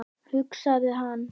hugsaði hann.